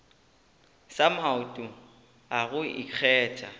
sa maoto a go ikgetha